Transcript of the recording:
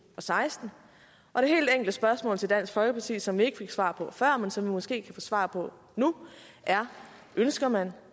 og seksten og det helt enkle spørgsmål til dansk folkeparti som vi ikke fik svar på før men som vi måske kan få svar på nu er ønsker man